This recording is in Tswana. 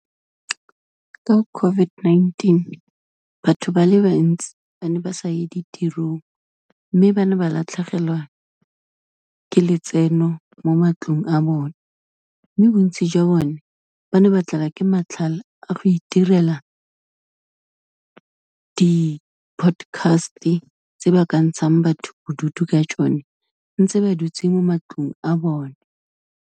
Ka COVID-19, batho ba le bantsi ba ne ba sa ye ditirong, mme ba ne ba latlhegelwa ke letseno mo matlong a bone, mme bontsi jwa bone ba ne ba tlelwa ke matlhale a go itirela di-podcast-e tse ba ka ntshang batho bodutu ka tsone, ntse ba dutse mo matlong a bone.